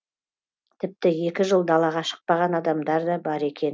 тіпті екі жыл далаға шықпаған адамдар да бар екен